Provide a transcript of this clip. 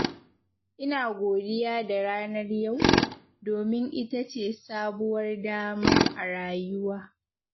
Ina godiya da ranar yau, domin ita ce sabuwar dama a rayuwa.